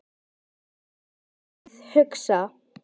Og höfuðið hugsa?